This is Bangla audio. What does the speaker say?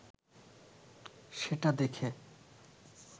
সেটা দেখে